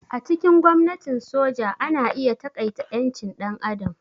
A cikin gwamnatin soja ana iya taƙaita ƴancin ɗan adam.